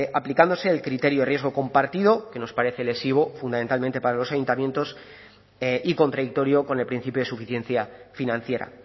aplicándose el criterio de riesgo compartido que nos parece lesivo fundamentalmente para los ayuntamientos y contradictorio con el principio de suficiencia financiera